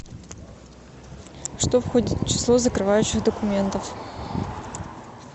что входит в число закрывающих документов